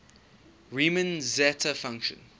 riemann zeta function